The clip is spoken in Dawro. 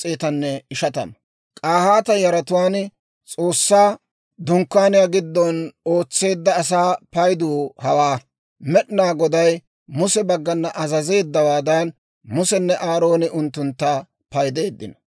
K'ahaata yaratuwaan S'oossaa Dunkkaaniyaa giddon ootseedda asaa paydu hawaa. Med'inaa Goday Muse baggana azazeeddawaadan, Musenne Aarooni unttuntta paydeeddino.